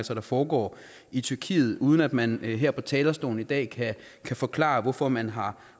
der foregår i tyrkiet uden at man her på talerstolen i dag kan kan forklare hvorfor man har